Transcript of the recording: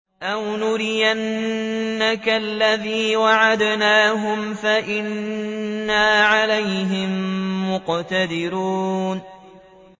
أَوْ نُرِيَنَّكَ الَّذِي وَعَدْنَاهُمْ فَإِنَّا عَلَيْهِم مُّقْتَدِرُونَ